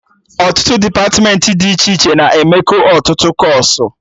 Ọtụtụ depatmentị dị iche iche na-emekọ ọtụtụ kọọsụ